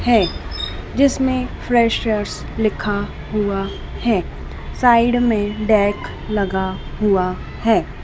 हैं जिसमें फ्रेशर्स लिखा हुआ है साइड में डेक लगा हुआ है।